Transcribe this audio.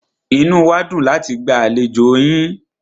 Inú wá dùn láti gba àlejò yín.